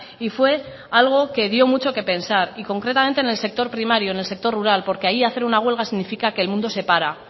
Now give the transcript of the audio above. y fue algo que dio mucho que pensar y concretamente en el sector primario en el sector rural porque ahí hacer una huelga significa que el mundo se para